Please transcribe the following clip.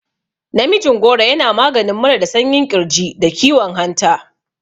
Namijin goro yana maganin mura da sanyin ƙirji, da kiwon hanta.